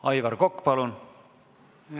Aivar Kokk, palun!